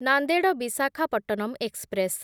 Nanded Visakhapatnam express